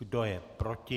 Kdo je proti?